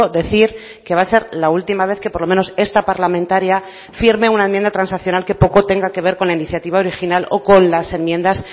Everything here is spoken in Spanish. decir que va a ser la última vez que por lo menos esta parlamentaria firme una enmienda transaccional que poco tenga que ver con la iniciativa original o con las enmiendas